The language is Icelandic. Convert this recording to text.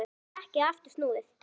En nú var ekki aftur snúið.